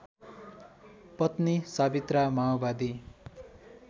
पत्नी सावित्रा माओवादी